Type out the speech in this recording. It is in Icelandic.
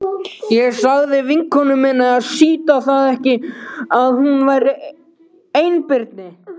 Ég sagði vinkonu minni að sýta það ekki að hún væri einbirni.